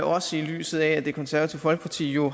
også set i lyset af at det konservative folkeparti jo